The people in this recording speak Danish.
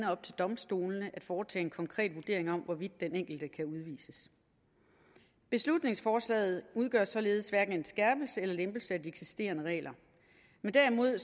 op til domstolene at foretage en konkret vurdering af hvorvidt den enkelte kan udvises beslutningsforslaget udgør således hverken en skærpelse eller lempelse af de eksisterende regler men derimod